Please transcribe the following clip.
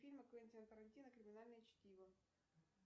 фильм квентина тарантино криминальное чтиво